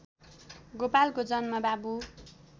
गोपालको जन्म बाबु